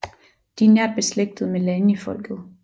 De er nært beslægtet med Lanifolket